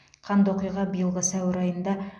қанды оқиға биылғы сәуір айында